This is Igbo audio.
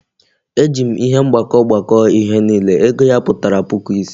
E ji m ihe mgbakọ gbakọọ ihe niile, ego ya pụtara puku ise